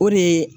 O de ye